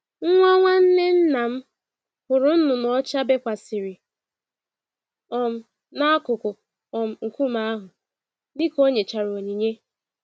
Nwa nwanne nnam hụrụ nnụnụ ọcha bekwasịrị um n'akụkụ um nkume ahụ, dika o nyechara onyinye.